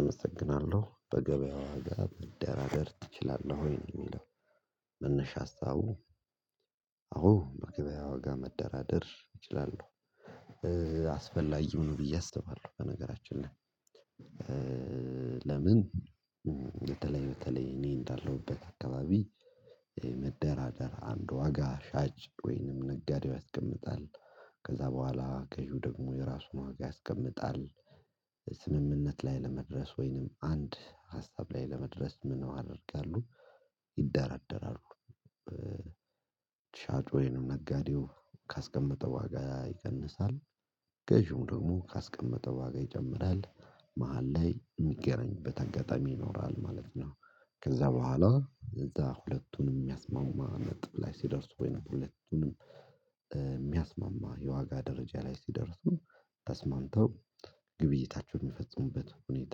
አመሰግናለሁ በገበያው ዋጋ መደራደር ትችላለህ ወይ ነው የሚለው? መነሻ ሀሳቡ። አዎ በገበያ ዋጋ መደራደር እችላለሁ። አስፈላጊም ነው ብዬ አስባለሁ በነገራችን ላይ። ለምን? በተለይ በተለይ እኔ እንዳለሁበት አካባቢ መደራደር አንድ ዋጋ ሻጭ ወይንም ነጋዴው ያስቀምጣል። ከዛ በኋላ ገዢው ደግሞ የራሱን ዋጋ ያስቀምጣል። ስምምነት ላይ ለመድረስ ወይንም አንድ ሀሳብ ላይ ለመድረስ ምን ማድረጋሉ ይደራደራሉ። ሻጩ ወይም ነጋዴው ካስቀመጠው ዋጋ ይቀንሳል። ገዢውም ደግሞ ካስቀመጠው ዋጋ ይጨምራል መሃል ላይ የሚገናኙበት አጋጣሚ ይኖራል ማለት ነው። ከዛ በኋላ እዛ ሁለቱንም የሚያስማማ ነጥብ ላይ ሲደርስ ወይንም ሁለቱንም የሚያስማማ የዋጋ ደረጃ ላይ ሲደርሱ ተስማምተው ግብይታቸውን የሚፈጽሙበት ሁኔታ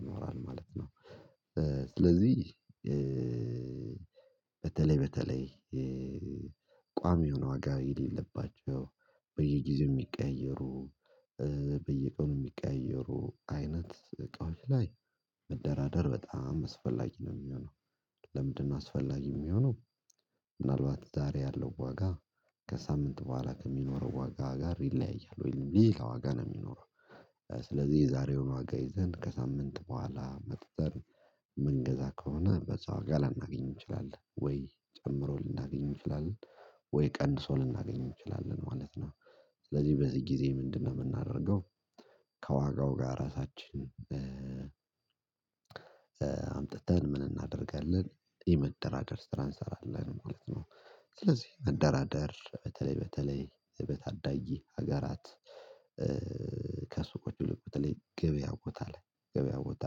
ይኖራል ማለት ነው። ስለዚህ በተለይ በተለይ ቋሚ የሆነ ዋጋ የሌለባቸው በየጊዜው የሚቀየሩ በየቀኑ የሚቀያየሩ አይነት እቃዎች ላይ መደራደር በጣም አስፈላጊ ነው የሚሆነው። ለምንድነው? አስፈላጊ የሚሆነው ምናልባት ዛሬ ያለው ዋጋ ከሳምንት በኋላ ከሚኖረው ዋጋ ጋር ይለያያል ወይም ሌላ ዋጋ ነው የሚኖረው። ስለዚህ የዛሬውን ዋጋ ይዘን ከሳምንት በኋላ መጥተን መንገዛ ከሆነ በዛ ዋጋ ላናገኝ እንችላለን ወይ ጨምሮ ልናገኝ እንችላለን ወይ ቀንሶ ልናገኝ እንችላለን ማለት ነው። ስለዚህ በዚህ ጊዜ ምንድነው? የምናደርገው ከዋጋው ጋር ራሳችን አምጥተን ምን እናደርጋለን የመደራደር ስራ እንሰራለን ማለት ነው። ስለዚህ መደራደር በተለይ በተለይ በታዳጊ ሀገራት ከሱቆቹ ብዙ በተለይ ገበያ ቦታ ላይ ገበያ ቦታ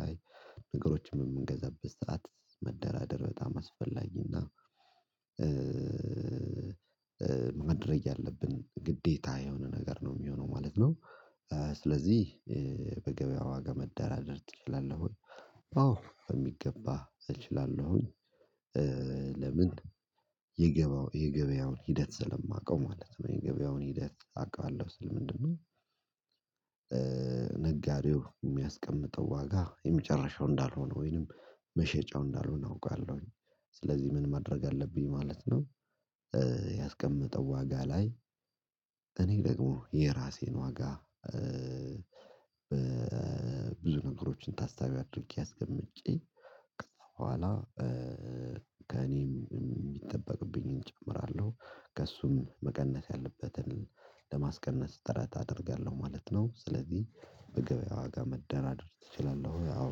ላይ ነገሮችን በምንገዛበት ሰዓት መደራደር በጣም አስፈላጊና ማድረግ ያለብን ግዴታ የሆነ ነገር ነው የሚሆነው ማለት ነው። ስለዚህ በገበያ ዋጋ መዳራደር ትችላለህ? አዎ በሚገባ እችላለሁኝ። ለምን? የገበያውን የገበያውን ሂደት ስለማውቀው ማለት ነው የገበያውን ሂደት አውቀዋለሁ ስል ምንድነው? ነጋዴው የሚያስቀምጠው ዋጋ የመጨረሻው እንዳልሆነ ወይንም መሸጫው እንዳልሆነ አውቃለሁኝ። ስለዚህ ምን ማድረግ አለብኝ ማለት ነው። ያስቀመጠው ዋጋ ላይ እኔ ደግሞ የራሴን ዋጋ በብዙ ነገሮችን ታሳቢ አድርጌ አስቀምጨ ከዛ ከኋላ ከእኔም የሚጠበቅብኝን እጨምራለሁ ከእሱም መቀነስ ያለበትን ለማስቀነስ ጥረት አደርጋለሁ ማለት ነው። ስለዚህ በገበያ ዋጋ መደራደር ትችላለህ? ወይ አወ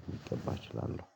በሚገባ እችላለሁ።